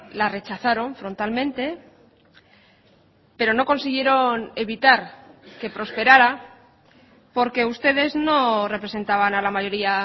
la rechazaron frontalmente pero no consiguieron evitar que prosperara porque ustedes no representaban a la mayoría